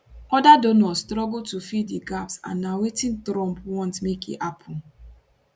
oda donors struggle to fill di gaps and na wetin trump want make e happun